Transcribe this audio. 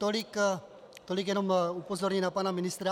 Tolik jenom upozornění na pana ministra.